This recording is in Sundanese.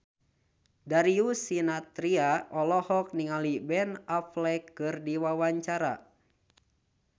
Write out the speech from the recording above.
Darius Sinathrya olohok ningali Ben Affleck keur diwawancara